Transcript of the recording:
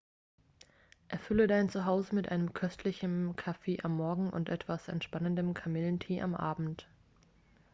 erfülle dein zuhause mit einem köstlichem kaffee am morgen und etwas entspannendem kamillentee am abend